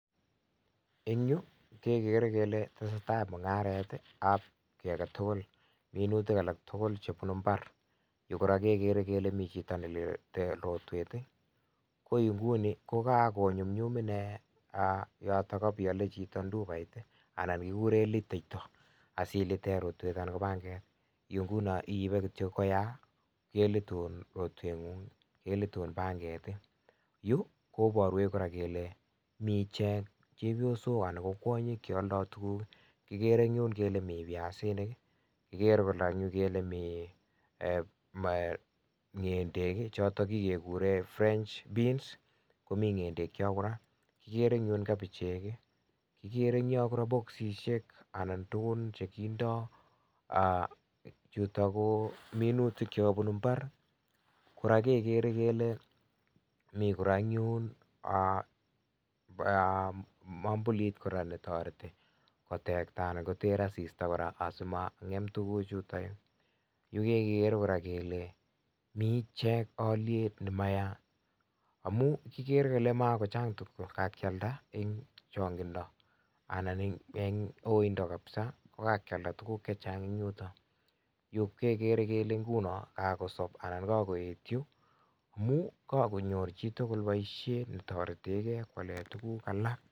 Eng' yu kegere kele tesetai mung'aret ab kiy agetugul minutik alak tugul chepunu imbar, yu koraa kegere kele mi chito nelete rotwet koinguni kogako nyumnyum inee yo kapiale chito ndupait anan kigure liteito asilite rotwet anan panget, yu nguno i'ipe kityo koyaa kelitun rotwet kei ng'ung' kelitun panget, yu koparwech koraa kele mi ichek chepyosok anan ko kwonyik chealdoy tuguk kigere ing' yun kele mi viasinik kigere koraa mi ng'endek chotok kegure French beans komii ng'endek yo koraa, kigere koraa kapichot, kigere koraa ing' yo boksishek anan tugun chekindo chutok ko minutik chekapunu imbar koraa kegere kele mi koraa eng' yun mwambulit koraa netoreti kotekta anan koter asista koraa asima ng'em tuguchu yutok yu, yu kegere koraa kele mi ichek aaliyek nemeyaa amun kigere kele makochang' tuguk chekagialda eng' changindo anan eng' uindo kapsa kogakialda tuguk chechang' eng' yutok, yu kegere kele nguno kagosop anan kagoet yu kagonyor chitugul boisiet netoretegei kolipane tugun alak.